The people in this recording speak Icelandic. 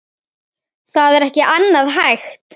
Það er ekki annað hægt.